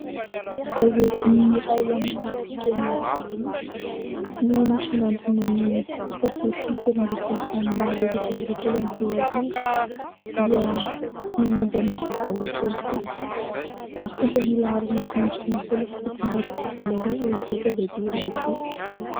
Gazety iray amin'ny fiteny vahiny no nisongandina ny sabotsy teloambifolo janoary efatrambiroapolo ambiroarivo dia ny momba ny vaovao politika mitondra ny laharana dimiambidimampolo sy fitonjato sy valoarivo ity gazety iray ity.